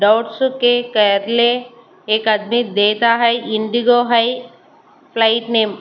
एक आदमी देता है इंडिगो है फ्लाईट नेम --